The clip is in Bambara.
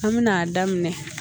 An bɛna a daminɛ